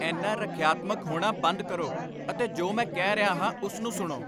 ਇੰਨਾ ਰੱਖਿਆਤਮਕ ਹੋਣਾ ਬੰਦ ਕਰੋ ਅਤੇ ਜੋ ਮੈਂ ਕਹਿ ਰਿਹਾ ਹਾਂ ਉਸ ਨੂੰ ਸੁਣੋ।